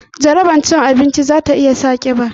Jarabar cin abinci za ta iya sa ka kiba